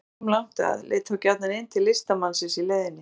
Fólk sem kom langt að leit þá gjarnan inn til listamannsins í leiðinni.